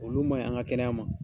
Olu maɲi an ka kɛnɛya ma